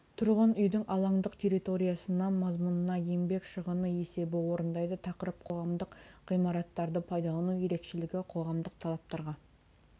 тұрғын үйдің алаңдық территориясы мазмұнына еңбек шығыны есебін орындайды тақырып қоғамдық ғимараттарды пайдалану ерекшелігі қоғамдық талаптарға